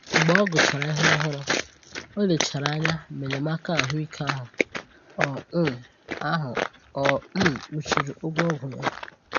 Mgbe ọ gụchàrà ihe òhùrù, ọ lechàrà anya ma enyémàkà ahụ́ ike ahụ o um ahụ o um kpuchiri ụgwọ ọgwụ ya